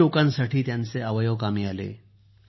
किती लोकांसाठी त्यांचे अवयव कामी आले